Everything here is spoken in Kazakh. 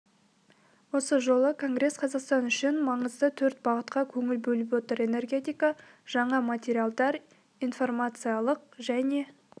осы жолы конгресс қазақстан үшін маңызды төрт бағытқа көңіл бөліп отыр энергетика жаңа материалдар информациялық және